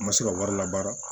N ma se ka wari la baara